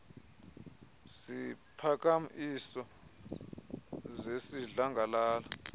ziphakam iso zesidlangalala